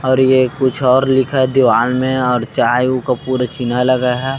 और ये कुछ और लिखा है दीवाल मैं और चाय उ का पूरा चीना लगा है।